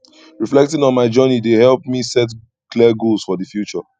reflecting on my journey dey help me set clear goals for the future